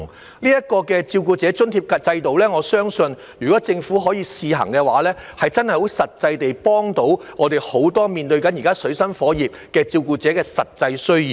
我相信，這個照顧者津貼制度若獲政府試行，真的可以幫到很多現正水深火熱的照顧者解決其實際需要。